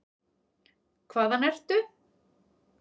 Hvaðan ertu?